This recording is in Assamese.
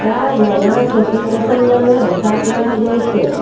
ইয়াত ৰঙা চকী কেখনমানো দেখা পোৱা গৈছে।